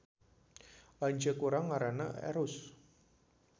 Lanceuk urang ngaranna Erus